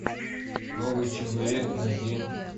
новый человек найди